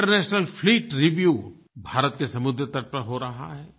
international fleet review Bharat के समुद्र तट पर हो रहा है